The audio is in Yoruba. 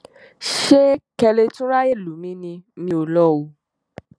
ṣé kẹ ẹ lè tún ráàyè lù mí ni mi ò lọ o